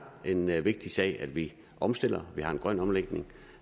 en en vigtig sag at vi omstiller at vi har en grøn omlægning